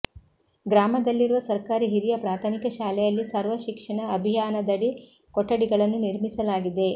ಗ್ರಾಮದಲ್ಲಿರುವ ಸರ್ಕಾರಿ ಹಿರಿಯ ಪ್ರಾಥಮಿಕ ಶಾಲೆಯಲ್ಲಿ ಸರ್ವ ಶಿಕ್ಷಣ ಅಭಿಯಾನದಡಿ ಕೊಠಡಿಗಳನ್ನು ನಿರ್ಮಿಸಲಾಗಿದೆ